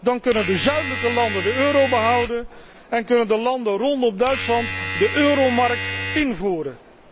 Dan kunnen de zuidelijke landen de euro behouden en kunnen de landen rondom Duitsland de euromark invoeren.